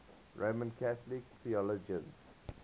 roman catholic theologians